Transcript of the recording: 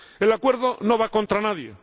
El Acuerdo no va contra nadie.